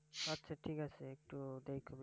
আচ্ছা ঠিক আছে, একটু দেখ।